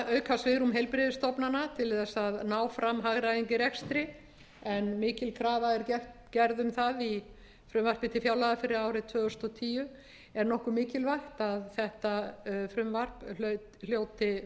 auka svigrúm heilbrigðisstofnana til þess að ná fram hagræðingu í rekstri en mikil krafa er gerð um það í frumvarpi til fjárlaga fyrir árið tvö þúsund og tíu er nokkuð mikilvægt að þetta frumvarp hljóti